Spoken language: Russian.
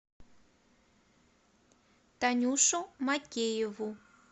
танюшу макееву